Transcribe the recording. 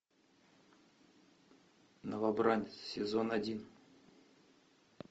новобранец сезон один